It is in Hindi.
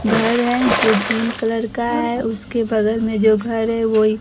घर है जो ग्रीन कलर का है उसके बगल में जो घर है वोइ --